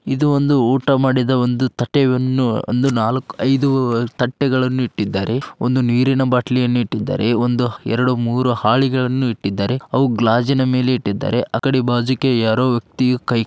ಇದು ಒಂದು ಊಟ ಮಾಡಿದ ಒಂದು ತೆಟ್ಟೆಯನ್ನು ಒಂದು ನಾಲ್ಕ್ ಐದು ತಟ್ಟೆಗಳನ್ನು ಇಟ್ಟಿದ್ದಾರೆ. ನೀರಿನ ಬಾಟ್ಲಿಯನ್ನು ಇಟ್ಟಿದ್ದಾರೆ ಒಂದು ಎರಡು ಮೂರು ಹಾಳಿ ಗಳನ್ನು ಇಟ್ಟಿದ್ದಾರೆ. ಅವು ಗ್ಲಾಜಿನ ಮೇಲೆ ಇಟ್ಟಿದ್ದಾರೆ. ಅಕಡೆ ಬಾಜೂಕ್ಕೆ ಯಾರೋ ವ್ಯಕ್ತಿ ಕೈ --